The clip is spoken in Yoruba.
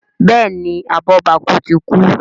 Béèni abobaku tí kú.